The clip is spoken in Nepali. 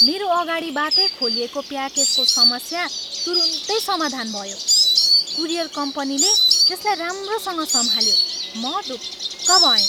मेरो अगाडिबाटै खोलिएको प्याकेजको समस्या तुरुन्तै समाधान भयो। कुरियर कम्पनीले यसलाई राम्रोसँग सम्हाल्यो, म ढुक्क भएँ।